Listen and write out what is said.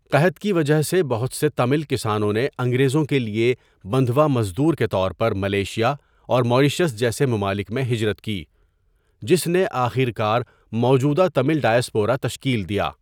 قحط کی وجہ سے بہت سے تامل کسانوں نے انگریزوں کے لیے بندھوا مزدور کے طور پر ملیشیا اور ماریشس جیسے ممالک میں ہجرت کی، جس نے آخر کار موجودہ تامل ڈایاسپورا تشکیل دیا۔